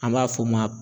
An b'a f'o ma